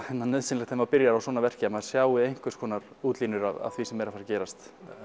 nauðsynlegt þegar maður byrjar á svona verki að maður sjái einhvers konar útlínur af því sem er að fara að gerast